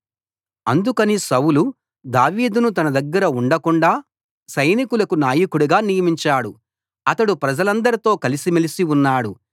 అందుకని సౌలు దావీదును తన దగ్గర ఉండకుండాా సైనికులకు నాయకుడుగా నియమించాడు అతడు ప్రజలందరితో కలిసిమెలిసి ఉన్నాడు